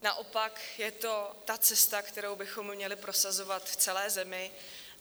Naopak, je to ta cesta, kterou bychom měli prosazovat v celé zemi.